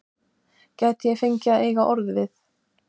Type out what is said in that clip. Gæti ég fengið að eiga orð við